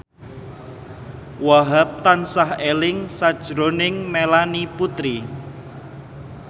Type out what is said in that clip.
Wahhab tansah eling sakjroning Melanie Putri